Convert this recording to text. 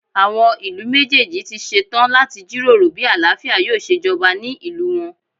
Àwọn ìlú méjèèjì ti ṣe tán láti jíròrò bí àlàáfíà yóò ṣe jọba ní ìlú wọn.